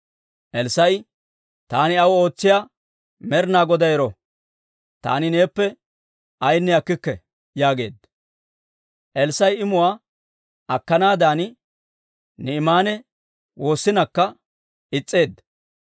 Elssaa'i, «Taani aw ootsiyaa Med'ina Goday ero! Taani neeppe ayaanne akkikke» yaageedda. Elssaa'i imuwaa akkanaadan Naa'imaane woossinakka, is's'eedda.